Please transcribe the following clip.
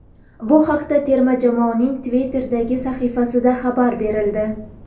Bu haqda terma jamoaning Twitter’dagi sahifasida xabar berildi.